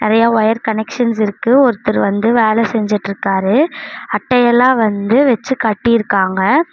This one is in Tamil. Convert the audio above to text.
நெறைய வயர் கனெக்ஷன்ஸ் இருக்கு ஒருத்தர் வந்து வேல செஞ்சிட்ருக்காரு அட்ட எல்லா வந்து வெச்சு கட்டிருக்காங்க.